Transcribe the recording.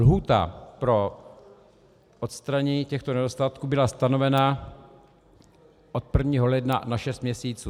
Lhůta pro odstranění těchto nedostatků byla stanovena od 1. ledna na šest měsíců.